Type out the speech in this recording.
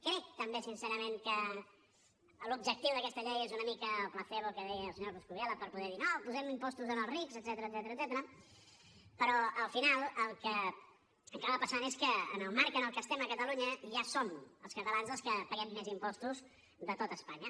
crec també sincerament que l’objectiu d’aquesta llei és una mica el placebo que deia el senyor coscubiela per poder dir no posem impostos als rics etcètera però al final el que acaba passant és que en el marc en el que estem a catalunya ja som els catalans els que paguem més impostos de tot espanya